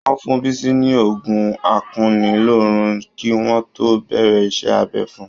Wọ́n fún Bísí ní oògùn akunilóorun kí wọ́n tó bẹ̀rẹ̀ iṣẹ́-abẹ fun.